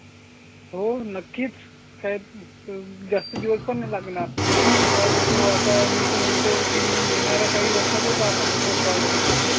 हो नक्कीच काय जास्त दिवस पाण नाही लागणार पाहिजे तू आता मी तर म्हणतो की येणारा काही वर्षातच आपण सुपर पॉवर बनून जाऊ